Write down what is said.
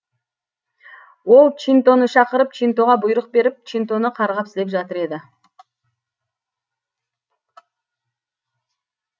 ол чинтоны шақырып чинтоға бұйрық беріп чинтоны қарғап сілеп жатыр еді